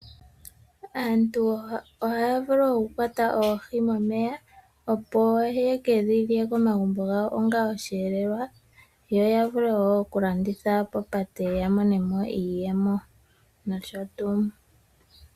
Aantu ohaya vulu okukwata oohi momeya opo ye dhilye ongo oshelelelwa komagubo gawo. Ohaye dhilanditha woo opo ya monemo iiyemo nosho tuu.